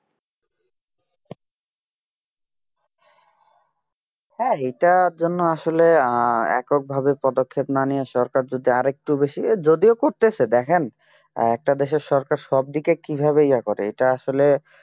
হ্যাঁ এটার জন্য আসলে এককভাবে পদক্ষেপ না নিয়ে সরকার যদি আরেকটু বেশি যদিও করছে দেখেন একটা দেশের সরকার সবদিকে কিভাবে ইয়া করে এটা আসলে